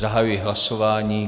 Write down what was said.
Zahajuji hlasování.